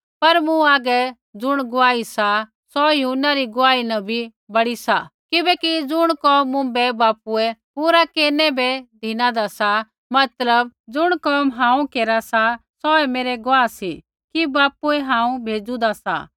पर मूँ हागै ज़ुण गुआही सा सौ यूहन्ना री गुआही न बड़ी सा किबैकि ज़ुण कोम मुँभै बापूऐ पूरा केरनै वे धिनादा सा मतलब ज़ुण कोम हांऊँ केरा सा सौऐ मेरै गुआह सी कि बापूऐ हांऊँ भेज़ूदा सा